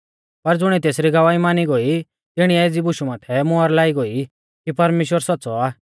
पर ज़ुणिऐ तेसरी गवाही मानी गोई तिणीऐ एज़ी बुशु माथै मोहर लाई गोई कि परमेश्‍वर सौच़्च़ौ आ